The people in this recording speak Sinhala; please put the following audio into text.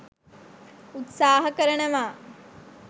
උත්සාහ කරනවා.